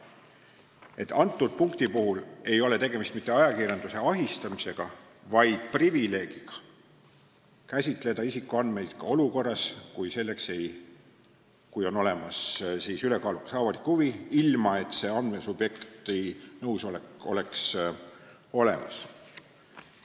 Nii et selle punkti puhul ei ole tegemist mitte ajakirjanduse ahistamisega, vaid privileegiga käsitleda isikuandmeid ka olukorras, kui on olemas ülekaalukas avalik huvi, ilma et andmesubjekti nõusolek oleks olemas.